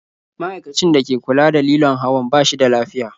Ma'aikacin da ke kula da lilon hawan ba shi da lafiya.